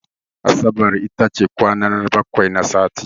Asabar iata ce kwana na bakwai na sati.